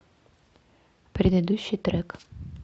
предыдущий трек